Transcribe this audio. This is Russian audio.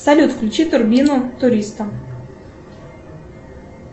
салют включи турбину туриста